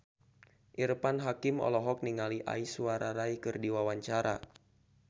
Irfan Hakim olohok ningali Aishwarya Rai keur diwawancara